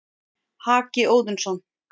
Haki Óðinsson,